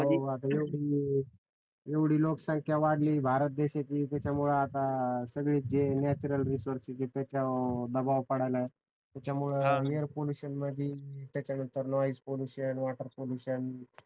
एवढी लोकसंख्या वाढली भारत देशाची त्याच्यामुळ आता सगळी जे नॅच्युरल रिसोर्सेस जे त्याच्यावर दबाव पडायलाये त्याच्यामुळ एयर पॉल्युशन मधी त्याच्या नंतर air pollution noise pollution water pollution